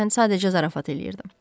Mən sadəcə zarafat eləyirdim.